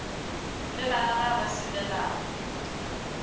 le bana ba ba selelago